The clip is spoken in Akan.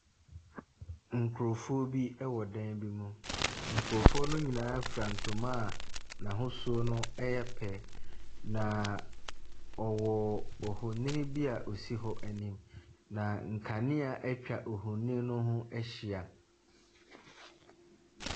Nkrɔfoɔ bi wɔ dan bi mu. Nkrɔfoɔ no nyinaa fura ntoma a n'ahosuo no yɛ pɛ. Na wɔwɔ ohoni bi a osi hɔ anim. Na nkanea atwa ohoni no ho ahyia.